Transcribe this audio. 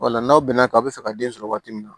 Wala n'aw bɛn na k'a bi fɛ ka den sɔrɔ waati min na